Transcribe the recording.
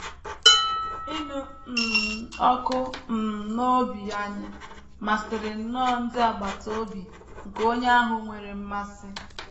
“ Ịnụ um ọkụ um n’obi anyị masịrị nnọọ ndị agbata obi nke onye ahụ nwere mmasị.